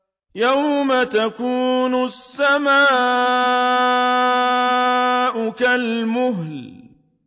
يَوْمَ تَكُونُ السَّمَاءُ كَالْمُهْلِ